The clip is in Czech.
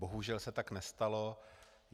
Bohužel se tak nestalo.